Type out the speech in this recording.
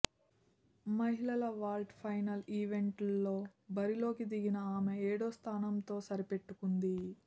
మహిళల vault final ఈవెంట్లో బరిలోకి దిగిన ఆమె ఏడో స్థానంతో సరిపెట్టుకుంది